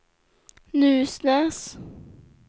Nusnäs